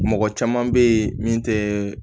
Mɔgɔ caman bɛ ye min tɛ